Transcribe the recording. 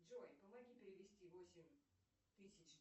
джой помоги перевести восемь тысяч